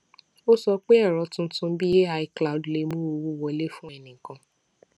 ó sọ pé èrò tuntun bíi ai cloud lè mú owó wọlé fún ẹnìkan